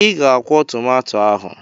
Ị ga akwọ tomato ahụ!